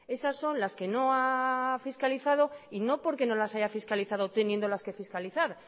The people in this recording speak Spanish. esas son las que no ha fiscalizado y no porque no las haya fiscalizado teniéndolas que fiscalizar